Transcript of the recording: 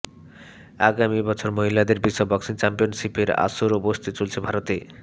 আগামী বছর মহিলাদের বিশ্ব বক্সিং চ্যাম্পিয়নশিপের আসরও বসতে চলেছে ভারতে